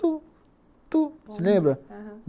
Tu, tu, se lembra? Aham